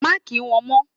Má kí wọn mó!